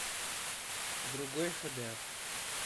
другой хэ дэ